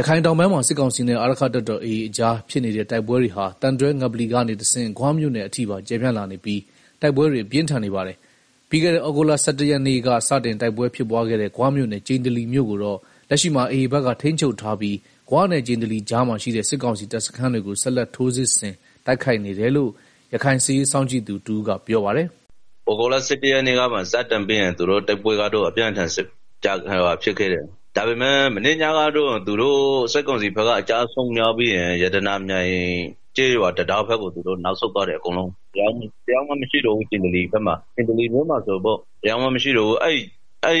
ရခိုင်တောင်ပိုင်းမှာ စစ်ကောင်စီနဲ့ အာရက္ခတပ်တော် AA ကြားဖြစ်နေတဲ့တိုက်ပွဲတွေဟာ သံတွဲငပလီက နေတဆင့် ဂွမြို့နယ်အထိပါကျယ်ပြန့်လာနေပြီး တိုက်ပွဲတွေပြင်းထန်နေပါတယ်။ ပြီးခဲ့တဲ့ သြဂုတ်လ ၁၁ရက်နေ့က စတင်တိုက်ပွဲဖြစ်ပွားခဲ့တဲ့ ဂွမြို့နယ် ကျိန္တလီမြို့ကိုတော့ လက်ရှိမှာ AAဘက်က ထိန်းချုပ်ထားပြီး ဂွနဲ့ ကျိန္တလီကြားမှာ ရှိတဲ့ စစ်ကောင်စီတပ်စခန်းတွေကို ဆက်လက်ထိုးစစ်ဆင်တိုက်ခိုက်နေတယ်လို့ ရခိုင်စစ်ရေးစောင့်ကြည့်နေသူတဦးကပြောပါတယ်။ “ သြဂုတ်လ ၁၁ရက်နေ့က စပြီးတော့ တိုက်ပွဲကတော့ အပြင်းအထန်ဖြစ်နေတာ။ဒါပေမယ့် မနေ့ညကတော့ စစ်ကောင်စီဘက်က အကျအဆုံးများပြီးတော့ ရတနာမြိုင်ကျေးရွာ တံတား ဘက်ကို သူတို့ နောက်ဆုတ်သွားတယ် အကုန်လုံး တယောက်မှမရှိတော့ဘူး ကျိန္တလီမြို့ ပေါ်မှာ။အခုတော့ အဲဒီ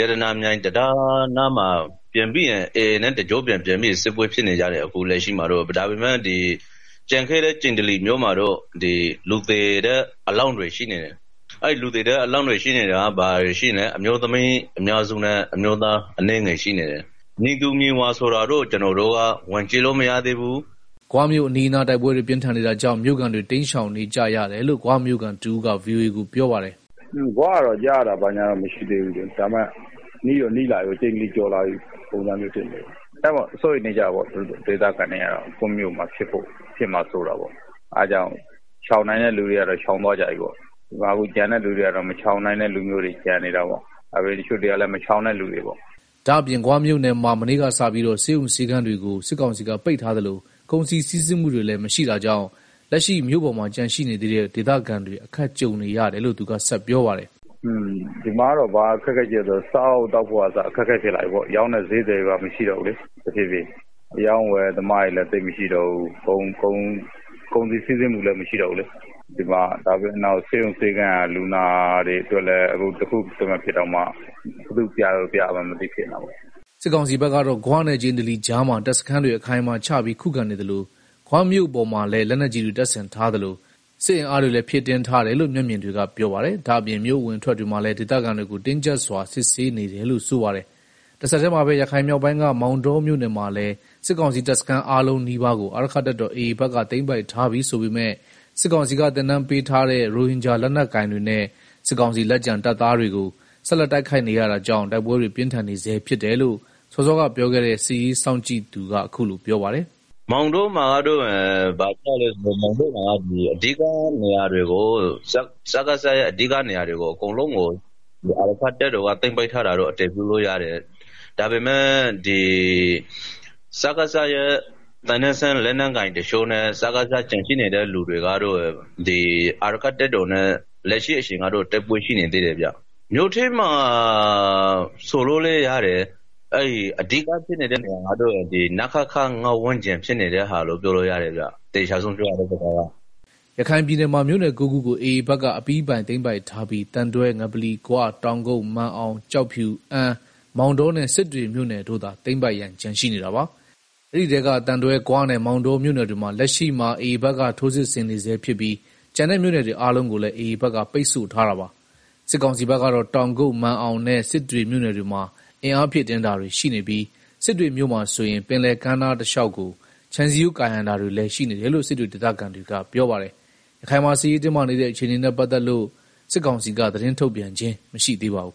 ရတနာမြိုင်တံတားနားမှာ AAနဲ့တိုက်ပွဲဖြစ်နေတယ်၊ကျိန္တလီမြို့ပေါ်မှာ တော့ လူသေအလောင်းတွေရှိနေတယ်။ အမျိုးသမီးအများစုနဲ့ အမျိုးသားတချို့အလောင်း တွေ ရှိတယ်၊ ဘယ်သူတွေလဲဆိုတာတော့ ကျနော်တို့က ဝင်ကြည့် လို့မရသေးဘူး။” ဂွမြို့အနီးအနား တိုက်ပွဲတွေပြင်းထန်နေတာကြောင့် မြို့ခံတွေ တိမ်းရှောင်နေကြရတယ်လို့ ဂွမြို့ခံတဦး ကဗွီအိုအေကို ပြောပါတယ်။ “ ဂွကတော့ ကြားရတာဘာညာတော့မရှိသေးဘူး၊ ဒါပေမယ့် နီးတော့ နီးလာပြီပေါ့။ ကျိန္တလီကျော်လာပြီဆိုတော့ ဒေသခံတွေကတော့ စိုးရိမ်နေကြတယ် ကိုယ့်မြို့မှာ ဖြစ်ဖို့ နီးလာပြီ ဆိုတော့ အဲတာကြောင့် ရှောင်နိုင်တဲ့သူတွေက ရှောင်သွားကြပြီ ကျန်တဲ့သူတွေကတော့ မရှောင်နို်င်တဲ့ သူတွေနဲ့ မရှောင်ကြတဲ့သူတွေပဲရှိတော့တာ။” ဒါ့အပြင် ဂွမြို့နယ်မှာ မနေ့ကစပြီးတော့ ဆေးရုံဆေးခန်းတွေကို စစ်ကောင်စီက ပိတ်ထားသလို ကုန်စည်စီးဆင်းမှုတွေလည်းမရှိတာကြောင့် လက်ရှိမြို့ပေါ်မှာ ကျန်ရှိနေသေးတဲ့ ဒေသခံတွေ အခက်ကြုံနေရတယ်လို့ သူကဆက်ပြောပါတယ်။ “ ဒီမှာကတော့ ဘာအခက်အခဲရှိလဲဆိုရင် စားဖို့ သောက်ဖို့ကအစ အခက်အခဲရှိလာ တာပေါ့လေ၊ ရောင်းတဲ့စျေးသည်တွေလည်းမရှိတော့ဘူးလေ၊ အရောင်းအဝယ်သမားတွေ လည်းသိမ်မရှိတော့ဘူး၊ ကုန်စည်စီးဆင်းမှုလည်းမရှိတော့ဘူးလေ၊ ပြီးတော့ ဆေးရုံဆေးခန်း တွေကလည်း လူနာတွေတခုခုဖြစ်ရင်တောင်မှ ဘယ်သူ့ကို ပြလို့ပြရမှန်းမသိဘူးလေ။” စစ်ကောင်စီဘက်ကတော့ ဂွနဲ့ ကျိန္တလီကြားမှာ တပ်စခန်းတွေအခိုင်အမာချပြီး ခုခံနေသလို ဂွမြို့ပေါ်မှာလည်း လက်နက်ကြီးတွေတပ်ဆင်ထားသလို စစ်အင်အားတွေလည်းဖြည့်တင်း ထားတယ်လို့ မျက်မြင်တွေက ပြောပါတယ်။ ဒါ့အပြင် မြို့အဝင်အထွက် တွေမှာလည်း ဒေသခံတွေကို တင်းကြပ်စွာစစ်ဆေး နေတယ်လို့ဆိုပါတယ်။ တဆက်တည်းမှာပဲ ရခိုင်မြောက်ပိုင်းက မောင်တောမြို့နယ်မှာလည်း စစ်ကောင်စီတပ်စန်း အားလုံးနီးပါးကို အာရက္ခတပ်တော် AA ဘက်က သိမ်းပိုက်ထားပြီဆိုပေမယ့် စစ်ကောင်စီက သင်တန်းပေးထားတဲ့ ရိုဟင်ဂျာလက်နက်ကိုင်တွေနဲ့ စစ်ကောင်စီလက်ကျန်တပ်သားတွေကို ဆက်လက်တိုက်ခိုက်နေရတာကြောင့် တိုက်ပွဲတွေ ပြင်းထန်နေဆဲဖြစ်တယ်လို့ စောစောကပြောခဲ့တဲ့ စစ်ရေးစောင့်ကြည့်နေသူက အခုလို ပြောပါတယ်။ “ မောင်တောမှာကတော့ စကစရဲ့ အဓိကနေရာတွေကို အာရက္ခတပ်တော်က သိမ်းပိုက်ထား တာတော့ အတည်ပြုလို့ရတယ်၊ ဒါပေမယ့် စကစရဲ့ သင်တန်းဆင်း လက်နက်ကိုင်တချို့နဲ့ စကစရဲ့ ကျန်ရှိနေသေးတဲ့ လူတွေနဲ့တော့ AAနဲ့တော့ လက်ရှိအချိန်ထိတိုက်ပွဲရှိနေ သေးတယ် ဗျာ၊ မြို့ထဲမှာလို့ ပြောလို့လည်းရတယ်၊ အဓိကဖြစ်နေတဲ့ နေရာကတော့ နခခ ဝန်းကျင်မှာ ဖြစ်နေကြတာဗျာ။” ရခိုင်ပြည်နယ်မှာ မြို့နယ် ၉ခုကို AAဘက်ကအပြီးပိုင်သိမ်းပိုက်ထားပြီး သံတွဲငပလီ၊ ဂွ၊ တောက်ကုတ်၊ မာန်အောင်၊ ကျောက်ဖြူ၊ အမ်း၊ မောင်တောနဲ့ စစ်တွေမြို့နယ်တို့သာ သိမ်းပိုက်ရန်ကျန်ရှိနေတာပါ။ အဲဒီထဲက သံတွဲ ဂွနဲ့ မောင်တောမြို့နယ်တွေကို လက်ရှိမှာ AAဘက်က ထိုးစစ်ဆင်နေဆဲဖြစ်ပြီး ကျန်တဲ့ မြို့နယ်တွေအားလုံးကိုလည်း AAဘက်က ပိတ်ဆို့ ထား တာပါ။ စစ်ကောင်စီဘက်ကတော့ တောင်ကုတ်၊ မာန်အောင်နဲ့ စစ်တွေမြို့နယ်တွေမှာ အင်းအားဖြည့် တင်းတာတွေရှိနေပြီး စစ်တွေမြို့မှာဆိုရင် ပင်လယ်ကမ်းနားတလျောက်ကို ခြံစည်းရိုး ကာရံတာတွေလည်းရှိနေတယ်လို့ စစ်တွေ ဒေသခံတွေကပြောပါတယ်။ ရခိုင်မှာ စစ်ရေးတင်းမာနေတဲ့ အခြေအနေနဲ့ပတ်သက်လို့ စစ်ကောင်စီက သတင်းထုတ်ပြန်ခြင်းမရှိသေးပါဘူး